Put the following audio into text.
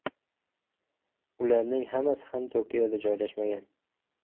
Ularning hammasi ham Tokioda joylashmagan.